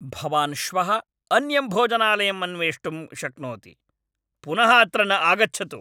भवान् श्वः अन्यं भोजनालयम् अन्वेष्टुं शक्नोति। पुनः अत्र न आगच्छतु।